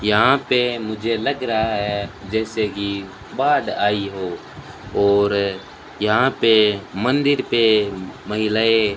यहां पे मुझे लग रहा है जैसे की बाढ़ आई हो और यहां पे मंदिर पे महिलाएं --